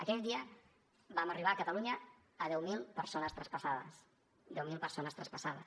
aquell dia vam arribar a catalunya a deu mil persones traspassades deu mil persones traspassades